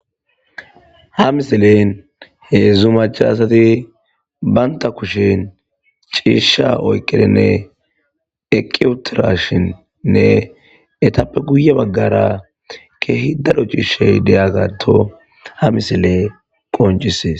Ha misilen heedzdzu macaasati baynta kushin ciisha oykedenne eqiy utirashinnne etappe guye baggara keehi daro ciishey deyagato ha misile qoncisees.